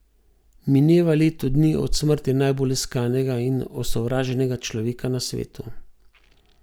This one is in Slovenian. Mineva leto dni od smrti najbolj iskanega in osovraženega človeka na svetu.